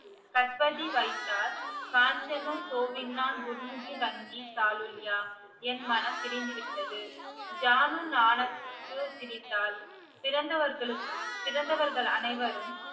கஸ்பதி வைத்தார் காஞ்சனூர் சோவின்னா துர்முகி ரஞ்சி சாலுல்யா என் மனம் பிரிந்து விட்டது ஜானு நானக்கு சிரித்தாள் பிறந்தவர்களுக்கு பிறந்தவர் அனைவரும்